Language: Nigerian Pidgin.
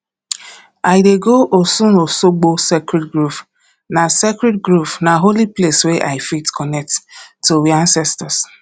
i dey go osunosogbo sacredd grove na sacredd grove na holy place wey i fit connect to we ancestors